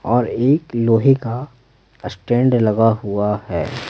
और एक लोहे का स्टैंड लगा हुआ है।